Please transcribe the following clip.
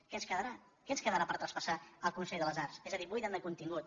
què ens quedarà què ens quedarà per traspassar al consell de les arts és a dir ho buiden de contingut